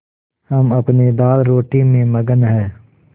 हम अपनी दालरोटी में मगन हैं